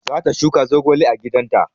Za ta shuka zogale a gidan ta